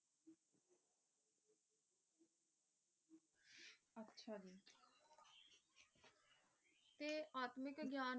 ਜਾਨਨੀ ਕੇ